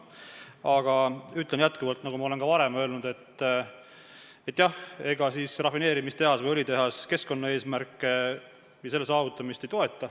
Aga ütlen jätkuvalt, nagu ma olen ka varem öelnud, et jah, rafineerimistehas või õlitehas keskkonnaeesmärke ja nende saavutamist ei toeta.